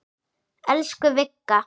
Elsku Vigga.